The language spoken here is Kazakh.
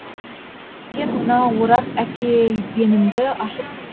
сен мына орап әкелгенімді ашып